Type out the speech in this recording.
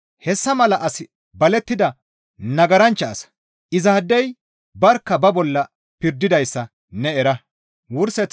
Hessa mala asi balettida nagaranchcha asa; izaadey barkka ba bolla pirdidayssa ne era.